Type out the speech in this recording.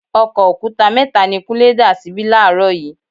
Ọkọ̀ òkúta mẹ́ta ni Kúnlé dà síbí làárọ̀ yìí.